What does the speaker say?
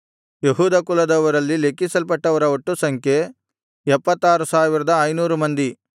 ಯೆಹೂದ ಕುಲದವರಲ್ಲಿ ಲೆಕ್ಕಿಸಲ್ಪಟ್ಟವರ ಒಟ್ಟು ಸಂಖ್ಯೆ 76500 ಮಂದಿ